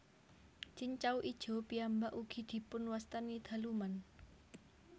Cincau ijo piyambak ugi dipun wastani daluman